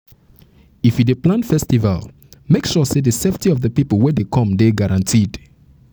if you dey plan festival make sure sey di safety of di pipo wey dey come dey guaranteed